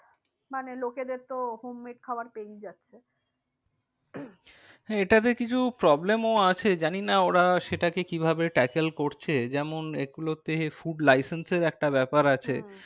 মানে লোকেদের তো home made খাবার পেয়েই যাচ্ছে। হ্যাঁ এটাতে কিছু problem ও আছে জানি না ওরা সেটাকে কি ভাবে tackle করছে যেমন এ গুলোতে food licence এর একটা ব্যাপার আছে। হম